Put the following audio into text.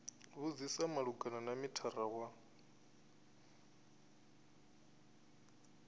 vhudzisa malugana na mithara wa